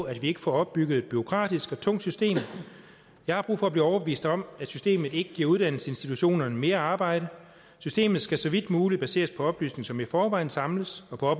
at vi ikke får opbygget et bureaukratisk og tungt system jeg har brug for at blive overbevist om at systemet ikke giver uddannelsesinstitutionerne mere arbejde systemet skal så vidt muligt baseres på oplysninger som i forvejen samles og på